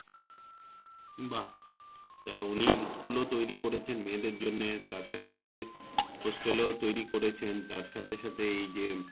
বাহ তা উনি school ও তৈরি করেছেন মেয়েদের জন্য তার সাথে সাথে Hostel ও তৈরি করেছেন তার সাথে সাথে এইযে